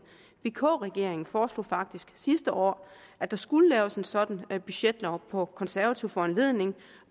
vk regeringen foreslog faktisk sidste år at der skulle laves en sådan budgetlov på konservativ foranledning